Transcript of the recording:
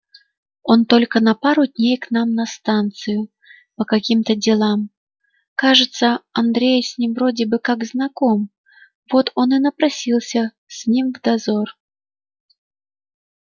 он только на пару дней к нам на станцию по каким-то делам кажется андрей с ним вроде бы как знаком вот он и напросился с ним в дозор